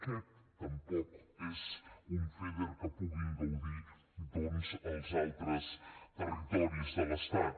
aquest tampoc és un feder que en puguin gaudir doncs els altres territoris de l’estat